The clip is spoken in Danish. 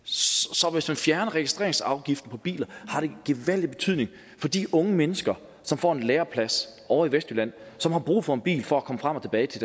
så hvis man fjerner registreringsafgiften på biler har det gevaldig betydning for de unge mennesker som får en læreplads ovre i vestjylland og som har brug for en bil for at komme frem og tilbage til